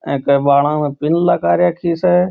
ए के बाळा में पिन लगा राखी स।